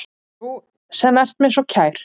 Þú sem ert mér svo kær.